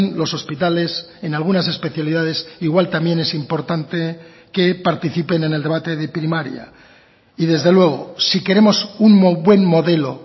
los hospitales en algunas especialidades igual también es importante que participen en el debate de primaria y desde luego si queremos un buen modelo